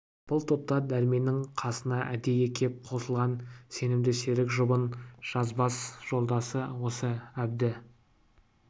бұл топта дәрменнің қасына әдейі кеп қосылған сенімді серік жұбын жазбас жолдасы осы әбді